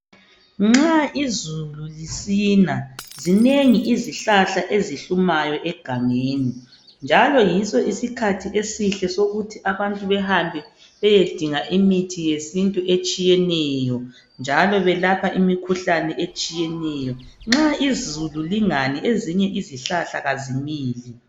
Nxa izulu lisina, zinengi izihlahla ezihlumayo egangeni, njalo yiso isikhathi esihle, esokuthi abantu behambe beyedinga imithi yesintu etshiyeneyo, njalo belapha imikhuhlane etshiyeneyo. Nxa izulu lingani, ezinye izihlahla kazimili.